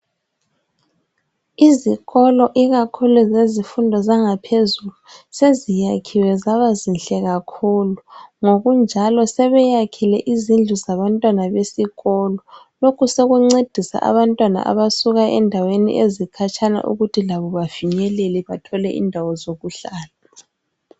Izikolo ekakhulu zezifundo zangaphezulu seziyakhiwe zabazinhle kakhulu. Ngokunjalo sebeyakhile izindlu zabantwana besikolo lokhu sekuncedisa abantwana abasuka endaweni ezikhatshana ukuthi labo bavikeleke bathole indawo zokuhlala.